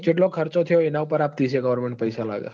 ચેટલો ખર્ચો થયો ઇના ઉપર goverment પઇસા લાગ